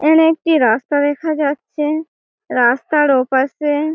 এখানে একটি রাস্তা দেখা যাচ্ছে। রাস্তার ওপাশে--